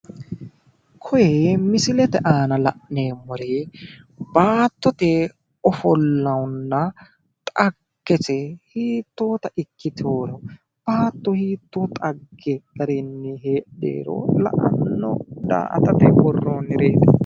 Kiyee misilete aana la'neemmori baattote ofollanna dhaggese hiittota ikkiteworo, baatto hiitto xagge garinn heedheworo la'anno daa"atate worronnireeti.